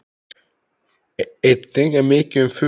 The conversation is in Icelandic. Einnig er mikið um furu.